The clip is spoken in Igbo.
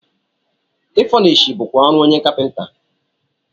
Ị fọnishọ bụkwa ọrụ onye kapịnta.